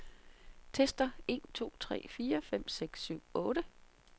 Tester en to tre fire fem seks syv otte.